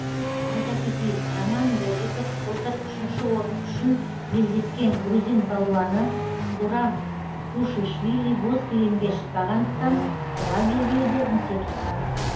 айта кетейік роман бобиков былтыр үшінші орын үшін белдескен грузин палуаны гурам тушишвили боз кілемге шықпағандықтан қола белбеуді місе тұтқан